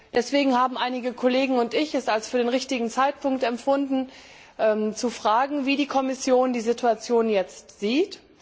Deswegen haben einige Kollegen und ich es als für den richtigen Zeitpunkt empfunden, zu fragen, wie die Kommission die Situation jetzt sieht.